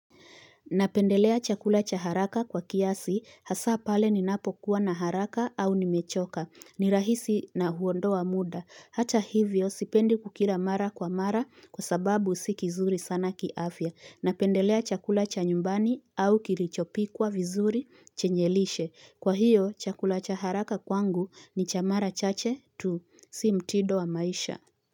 Napendelea chakula cha haraka kwa kiasi hasa pale ninapokuwa na haraka au nimechoka, ni rahisi na huondoa muda. Hata hivyo sipendi kukila mara kwa mara kwa sababu si kizuri sana kiafya. Napendelea chakula cha nyumbani au kilichopikwa vizuri chenye lishe. Kwa hio chakula cha haraka kwangu ni cha mara chache tu, si mtindo wa maisha.